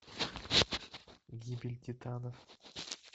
гибель титанов